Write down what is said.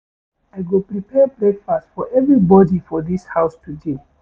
I go prepare breakfast for everybodi for dis house today.